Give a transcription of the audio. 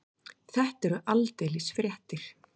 Þetta eru aldeilis fréttir.